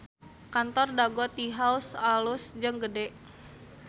Kantor Dago Tea House alus jeung gede